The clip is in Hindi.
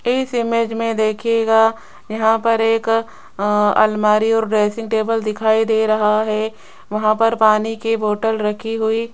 इस इमेज में देखिएगा यहां पर एक अ अलमारी और ड्रेसिंग टेबल दिखाई दे रहा है वहां पर पानी की बोटल रखी हुई --